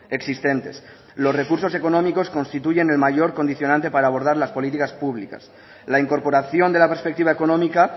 existentes los recursos económicos constituyen el mayor condicionante para abordar las políticas públicas la incorporación de la perspectiva económica